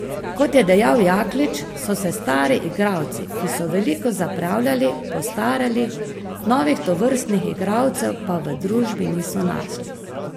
Kot je dejal Jaklič, so se stari igralci, ki so veliko zapravljali, postarali, novih tovrstnih igralcev pa v družbi niso našli.